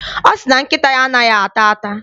Ọ sị na nkịta ya anaghị ata ata.